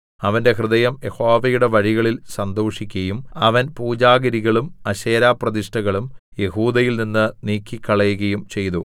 അവന്റെ ഹൃദയം യഹോവയുടെ വഴികളിൽ സന്തോഷിക്കയും അവൻ പൂജാഗിരികളും അശേരാപ്രതിഷ്ഠകളും യെഹൂദയിൽനിന്ന് നീക്കിക്കളയുകയും ചെയ്തു